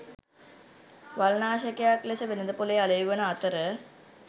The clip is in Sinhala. වල්නාශකයක් ලෙස වෙළෙඳ‍පොළේ අලෙවි වන අතර